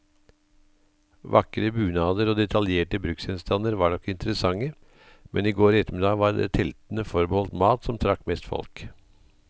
Vakre bunader og detaljerte bruksgjenstander var nok interessante, men i går ettermiddag var det teltene forbeholdt mat, som trakk mest folk.